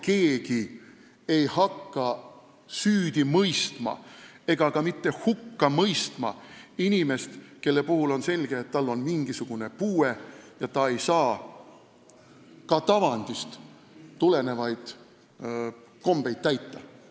Keegi ei hakka süüdi mõistma ega ka mitte hukka mõistma inimest, kelle puhul on selge, et tal on mingisugune puue ja ta ei saa tavandist tulenevaid kombeid täita.